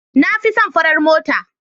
Na fi son farar mota.